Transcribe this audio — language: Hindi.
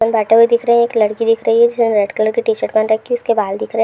बैठे हुए दिख रहे हैं एक लड़की दिख रही है जिसने रेड कलर की टी-शर्ट पहन रखी है उसके बाल दिख रहे --